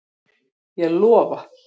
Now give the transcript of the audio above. Ég lofa.